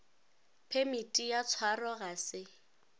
phemiti ya tshwaro ga se